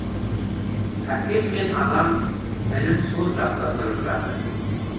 әкем мен анам інім сол жақта тұрып жатыр